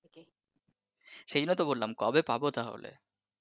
সেজন্যই তো বললাম কবে পাবো তাহলে ।